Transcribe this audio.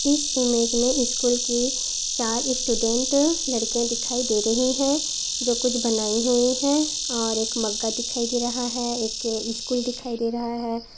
इस इमेज मे स्कूल की चार स्टूडेंट लड़किया दिखाई दे रही है जो कुछ बनाई हुई है और एक मगा दिखाई दे रहा है। एक स्कूल दिखाई दे रहा है।